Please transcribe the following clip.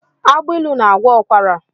Agbailu na-agwọ ụkwara.